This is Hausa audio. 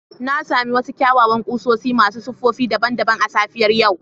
Na sami wasu kyawawan kusoshi masu siffofi daban-daban a safiyar yau